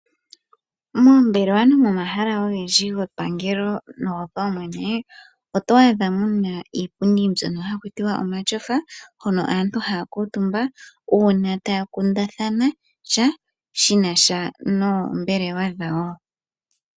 Moombelewa nomomahala ogendji gepangelo nogopaumwene oto adha muna iipundi mbyono hakuti omashofa, hono aantu haya kuutumba una taya kundathana sha, shinasha noombelewa dhawo.